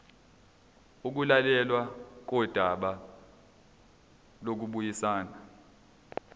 ukulalelwa kodaba lokubuyisana